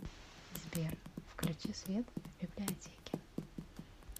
сбер включи свет в библиотеке